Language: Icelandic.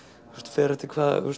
fer eftir